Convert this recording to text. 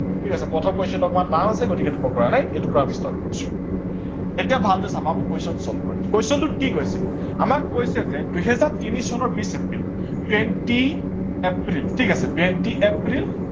ঠিক আছে প্ৰথম question টো অকনমান টান আছে গতিকে এইটো মই পৰা নাই। এইটো পা আমি start কৰিছো। এতিয়া ভালকে চাবা আমি question solve কৰিম। question টোত কি কৈছে আমাক কৈছে যে দুহেজাৰ তিনি চনৰ বিছ এপ্ৰিল twenty april ঠিক আছে twenty april